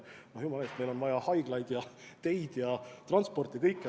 Jumala eest, meil on vaja haiglaid ja teid ja transporti – kõike.